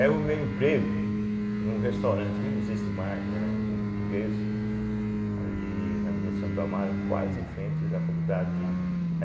Aí eu arrumei um emprego num restaurante que não existe mais, né de um português ali na Avenida Santo Amaro, quase em frente da faculdade